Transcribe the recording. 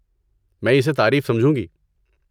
میں اسے تعریف سمجھوں گی۔